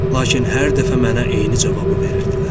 Lakin hər dəfə mənə eyni cavabı verirdilər.